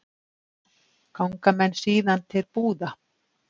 Ganga menn síðan til búða.